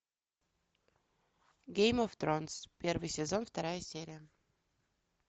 гейм оф тронс первый сезон вторая серия